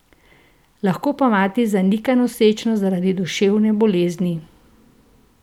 Lahko pa mati zanika nosečnost zaradi duševne bolezni.